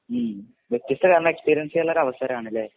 ഉം വ്യത്യസ്ത കാരണ എസ്പീരിയൻസീയാന്ള്ള ഒരവസരാണ് ല്ലെ